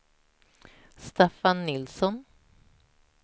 Staffan Nilsson